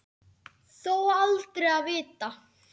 Þó aldrei að vita.